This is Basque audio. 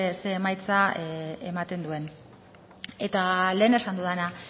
ze emaitza ematen duen eta lehen esan dudana